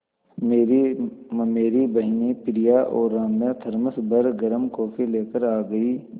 मेरी ममेरी बहिनें प्रिया और राम्या थरमस भर गर्म कॉफ़ी लेकर आ गईं